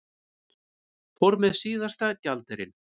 Fór með síðasta gjaldeyrinn